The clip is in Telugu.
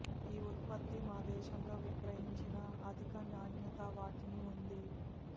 ఈ ఉత్పత్తి మా దేశంలో విక్రయించిన అధిక నాణ్యత వాటిని ఉంది